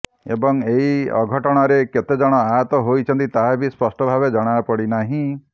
ଏବଂ ଏହି ଅଘଟଣରେ କେତେ ଜଣ ଆହତ ହୋଇଛନ୍ତି ତାହା ବି ସ୍ପଷ୍ଟ ଭାବେ ଜଣାପଡିନାହିଁ